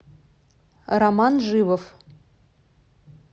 роман живов